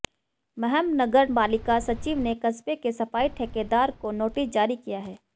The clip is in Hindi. महम नगर पालिका सचिव ने कस्बे के सफाई ठेकेदार को नोटिस जारी किया है